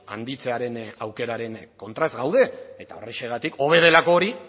handitzearen aukeraren kontra ez gaude eta horrexegatik hobe delako hori